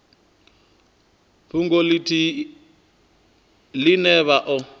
fhungo ithihi ine vha o